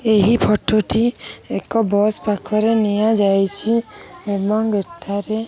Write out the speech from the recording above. ଏହି ଫଟ ଟି ଏକ ବସ ପାଖର ନିଅ ଯାଇଚି। ଏବଂ ଏଠାରେ।